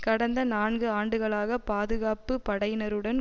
கடந்த நான்கு ஆண்டுகளாக பாதுகாப்பு படையினருடன்